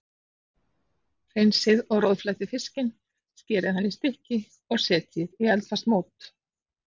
Hreinsið og roðflettið fiskinn, skerið hann í stykki og setjið í eldfast mót.